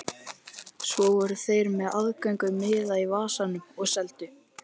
Svo voru þeir með aðgöngumiða í vasanum og seldu.